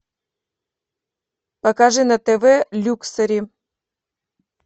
покажи на тв люксери